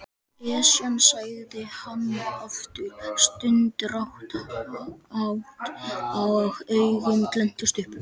Esjan sagði hann aftur stundarhátt og augun glenntust upp.